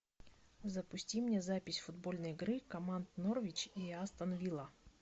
запусти мне запись футбольной игры команд норвич и астон вилла